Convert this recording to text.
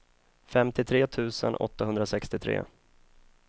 femtiotre tusen åttahundrasextiotre